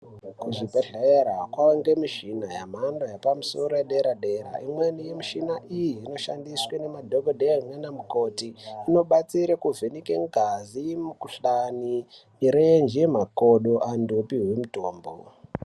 Kuzvibhedhlera kwaange mishina yemhando yepamusoro yedera dera imweni yemishina iyi inoshandiswe nemadhokodheya naana mukhoti inobatsire kuvheneke ngazi, mikhuhlani, mirenje, makodo antu opiwe mitombo.